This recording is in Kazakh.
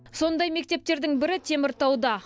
сондай мектептердің бірі теміртауда